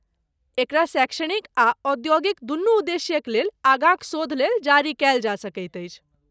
एकरा शैक्षणिक आ औद्योगिक, दुनू उद्देश्यक लेल, आगाँक शोध लेल जारी कयल जा सकैत अछि।